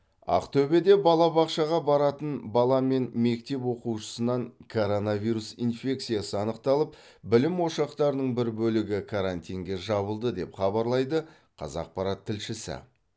ақтөбеде балабақшаға баратын бала мен мектеп оқушысынан коронавирус инфекциясы анықталып білім ошақтарының бір бөлігі карантинге жабылды деп хабарлайды қазақпарат тілшісі